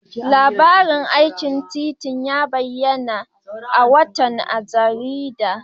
Labarin aikin titin ya bayyana a wata jarida.